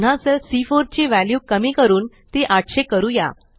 पुन्हा सेल सी4 ची वॅल्यू कमी करून ती 800 करूया